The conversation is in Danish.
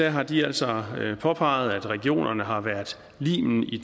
har de altså påpeget at regionerne har været limen i